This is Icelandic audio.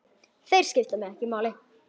Þeir skipta mig ekki máli.